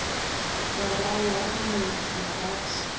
murahu ha minwedzi ya rathi